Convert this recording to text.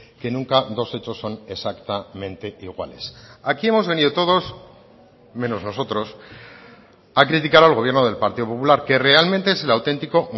que nunca dos hechos son exactamente iguales aquí hemos venido todos menos nosotros a criticar al gobierno del partido popular que realmente es el auténtico